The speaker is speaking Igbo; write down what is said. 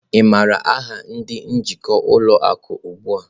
Ị maara aha ndị njikwa ụlọ akụ ugbu a?